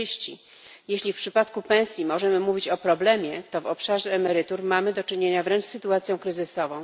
40. Jeśli w przypadku pensji możemy mówić o problemie, to w obszarze emerytur mamy do czynienia wręcz z sytuacją kryzysową.